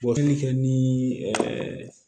Bɔli kɛ ni